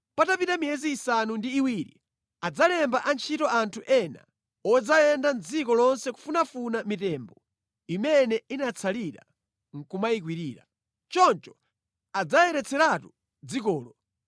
“Patapita miyezi isanu ndi iwiri adzalemba ntchito anthu ena odzayenda mʼdziko lonse kufunafuna mitembo imene inatsalira nʼkumayikwirira. Choncho adzayeretseratu dzikolo.